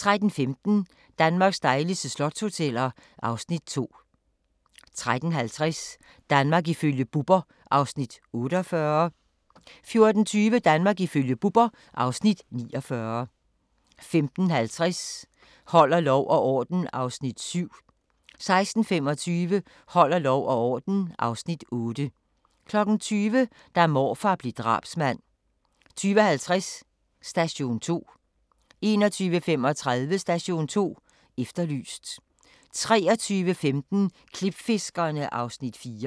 13:15: Danmarks dejligste slotshoteller (Afs. 2) 13:50: Danmark ifølge Bubber (Afs. 48) 14:20: Danmark ifølge Bubber (Afs. 49) 15:50: Holder lov og orden (Afs. 7) 16:25: Holder lov og orden (Afs. 8) 20:00: Da morfar blev drabsmand 20:50: Station 2 21:35: Station 2 Efterlyst 23:15: Klipfiskerne (Afs. 4)